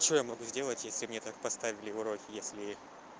что я могу сделать если мне так поставили уроки если